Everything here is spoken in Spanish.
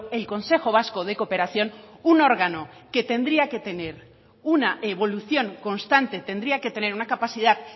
el consejo vasco de cooperación un órgano que tendría que tener una evolución constante tendría que tener una capacidad